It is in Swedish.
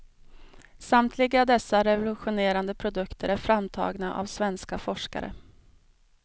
Samtliga dessa revolutionerande produkter är framtagna av svenska forskare.